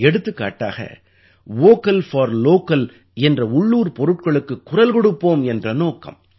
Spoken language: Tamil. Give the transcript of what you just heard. எடுத்துக்காட்டாக வோக்கல் போர் லோக்கல் என்ற உள்ளூர் பொருட்களுக்குக் குரல் கொடுப்போம் என்ற நோக்கம்